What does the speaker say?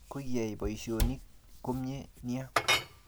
Kokiyai poisyonotok komnye nia